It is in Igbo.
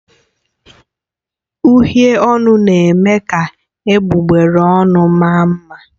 Uhiè ọnụ na eme ka egbugbere ọnụ maa mma.